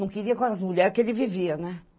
Não queria com as mulheres que ele vivia, né?